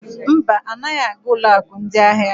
Mba, anaghị aga ụlọ akụ ndị ahịa.